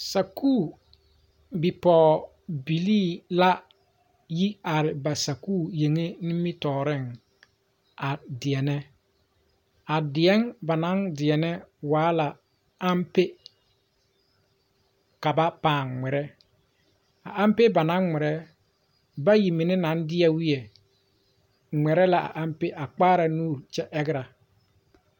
Sakuri bipɔgebilli la yi are ba sakuri yeŋɛ nimitɔreŋ a deɛnɛ ba naŋ deɛnɛ waa la ampe ka paaŋ ŋmeɛre a ampe ba naŋ ŋmeɛre bayi mine maŋ deɛ weioŋ ŋmeɛre la a ampe a kpaara nuuri a kyɛ argera.